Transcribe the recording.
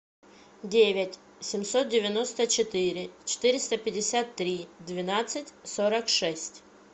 девять семьсот девяносто четыре четыреста пятьдесят три двенадцать сорок шесть